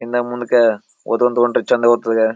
ಹಿಂದ ಮುಂದಕ ಹೊತ್ತೊಂದ್ ಹೊಂಟ್ರಿ ಚಂದ .]